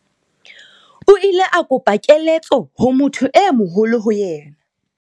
O ile a kopa keletso ho motho e moholo ho yena.